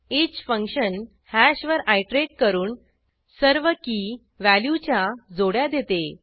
each function हॅशवर iterate करून सर्व कीव्हॅल्यूच्या जोड्या देते